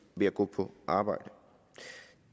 ved at gå på arbejde